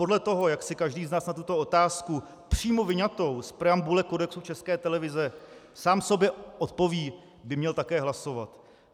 Podle toho, jak si každý z nás na tuto otázku přímo vyňatou z preambule Kodexu České televize sám sobě odpoví, by měl také hlasovat.